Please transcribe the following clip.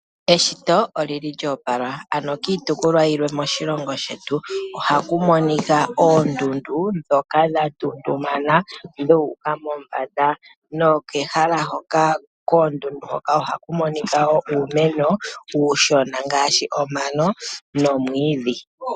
Eshito olyo opala, oshoka kiitopolwa yimwe moshilongo shetu ohaku monika oondundu ndhoka dha tuntumana dhu uka mombanda. Koondundu hoka ohaku monika wo uumeno mboka uushona ngaashi omano nomwiidhi.